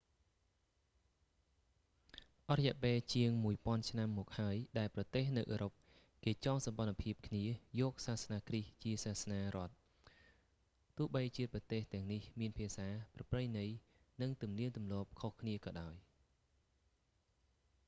អស់រយៈពេលជាងមួយពាន់ឆ្នាំមកហើយ ដែលប្រទេសនៅអឺរ៉ុបគេចងសម្ព័ន្ធភាពគ្នាយកសាសនាគ្រីស្ទជាសាសនារដ្ឋ ទោះបីជាប្រទេសទាំងនេះមានភាសា ប្រពៃណី និងទំនៀមទម្លាប់ខុសគ្នាក៏ដោយ ខ្ញុំ